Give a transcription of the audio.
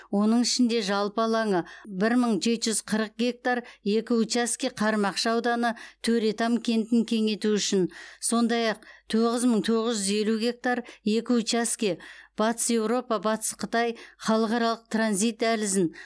оның ішінде жалпы алаңы бір мың жеті жүз қырық гектар екі учаске қармақшы ауданы төретам кентін кеңейту үшін сондай ақ тоғыз мың тоғыз жүз елу гектар екі учаске батыс еуропа батыс қытай халықаралық транзит дәлізін